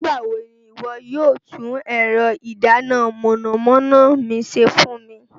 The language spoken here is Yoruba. Nigbawo ni iwọ yóò tun ẹrọ idana mọnamọna mi ṣe fun mi?